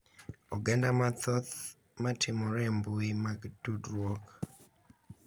Oganda mathoth matimore e mbui mag tudruok